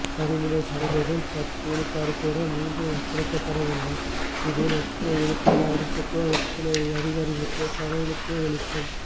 பறிமுதல் செய்த தில் பத்துவிழுக்காடுகூட மீண்டும் ஒப்படைக்கப்படவில்லை இதில் எத்துணை விழுக்காடு அரசுக்கோ எத்துணை அதிகாரிகளுக்கோ கடவுளுக்கெவெளிச்சம்